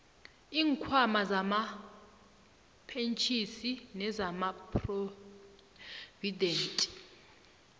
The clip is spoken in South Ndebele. iinkhwama zamapentjhini nezamaphrovidenti